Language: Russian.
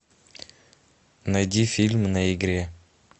найди фильм на игре